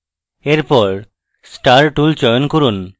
এরপর star tool চয়ন করুন